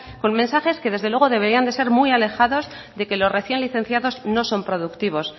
con mensajes que desde luego deberían de ser muy alejados de que los recién licenciados no son productivos